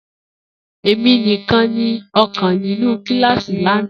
Emi nikan ni ọkan ninu kilasi lana